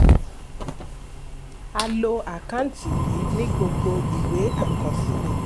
um a lo àkántì yìí ní gbogbo ìwé àkọsílẹ̀.